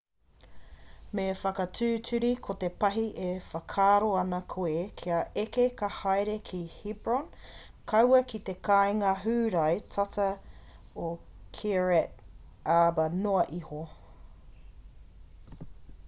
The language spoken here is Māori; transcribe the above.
me whakatūturu ko te pahi e whakaaro ana koe kia eke ka haere ki hebron kaua ki te kāinga hūrae tata o kiryat arba noa iho